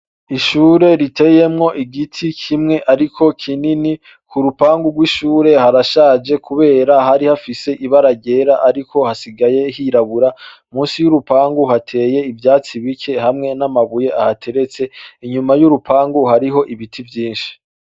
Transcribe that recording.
Ishure riteyemwo igiti kimwe ariko kinini .Ku rupangu rw'ishure harashaje kubera hari hafise ibara ryera ariko hasigaye hirabura .Munsi y'urupangu hateye ivyatsi bike hamwe n'amabuye ahateretse inyuma y'urupangu hariho ibiti vyinshi.